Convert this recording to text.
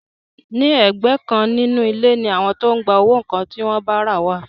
Ní ẹ̀gbẹ́ kan nínú ilé ni àwọn tó ń gba owó nǹkan tí wọ́n bá rà wà